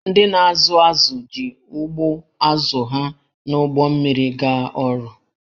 Ndị na-azụ azụ̀ ji ụgbụ azụ̀ ha na ụgbọ mmiri gaa ọrụ